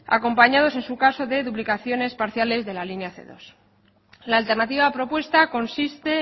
acompañados en su caso de duplicación parciales de la línea ce dos la alternativa propuesta consiste